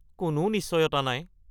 কোনো নিশ্চয়তা নাই।